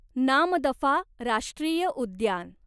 नामदफा राष्ट्रीय उद्यान